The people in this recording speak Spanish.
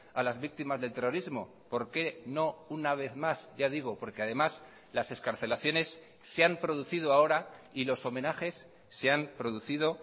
a las víctimas del terrorismo por qué no una vez más ya digo porque además las excarcelaciones se han producido ahora y los homenajes se han producido